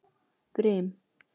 Brim